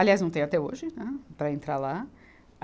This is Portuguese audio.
Aliás, não tem até hoje, né, para entrar lá.